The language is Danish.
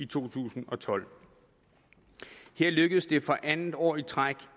to tusind og tolv her lykkedes det for andet år i træk